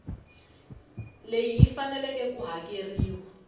leyi yi faneleke ku hakeriwa